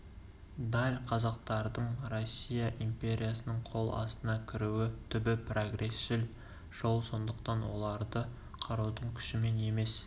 даль қазақтардың россия империясының қол астына кіруі түбі прогресшіл жол сондықтан оларды қарудың күшімен емес